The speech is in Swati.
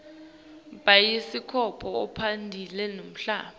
bhayiskobho akasabukwa lamuhla